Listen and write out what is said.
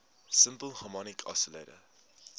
simple harmonic oscillator